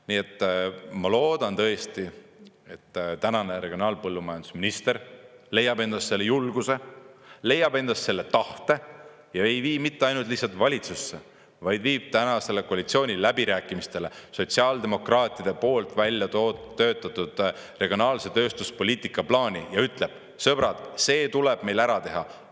Nii et ma loodan tõesti, et tänane regionaal- ja põllumajandusminister leiab endas selle julguse, leiab endas selle tahte ja ei vii mitte ainult lihtsalt valitsusse, vaid viib tänastele koalitsiooniläbirääkimistele sotsiaaldemokraatide poolt välja töötatud regionaalse tööstuspoliitika plaani ja ütleb: "Sõbrad, see tuleb meil ära teha!